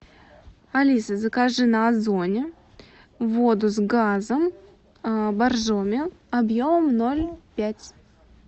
алиса закажи на озоне воду с газом боржоми объемом ноль пять